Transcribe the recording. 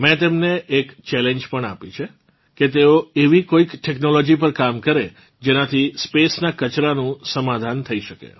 મેં તેમને એક ચેલેન્જ પણ આપી છે કે તેઓ એવી કોઇક ટેક્નોલોજી પર કામ કરે જેનાથી Spaceનાં કચરાનું સમાધાન થઇ શકે